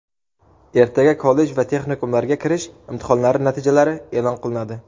Ertaga kollej va texnikumlarga kirish imtihonlari natijalari eʼlon qilinadi.